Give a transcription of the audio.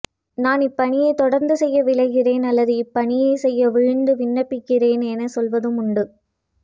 நான் இப்பணியை தொடர்ந்து செய்ய விழைகிறேன் அல்லது இப்பணியை செய்ய விழைந்து விண்ணப்பிக்கிறேன் என சொல்வதும் உண்டு